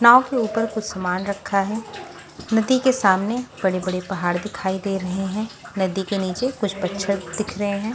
नाव के ऊपर कुछ सामान रखा है नदी के सामने बड़े-बड़े पहाड़ दिखाई दे रहे हैं नदी के नीचे कुछ पच्छर दिख रहे हैं।